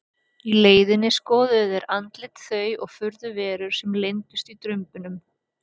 Í leiðinni skoðuðu þeir andlit þau og furðuverur sem leyndust í drumbunum.